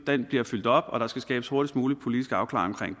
bliver fyldt op og der skal skabes hurtigst mulig politisk afklaring